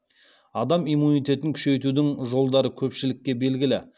адам иммунитетін күшейтудің жолдары көпшілікке белгілі